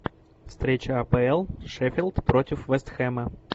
встреча апл шеффилд против вест хэма